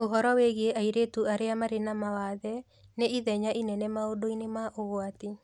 Ũhoro wĩgiĩ airĩtu arĩa marĩ na mawathe nĩ ithenya inene maũndũ-inĩ ma ũgwati